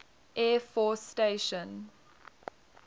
air force station